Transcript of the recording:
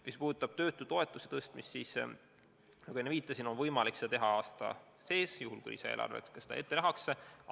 Mis puudutab töötutoetuse tõstmist, siis nagu ma enne viitasin, seda on võimalik teha aasta sees, juhul kui seda eelarves ka ette nähakse.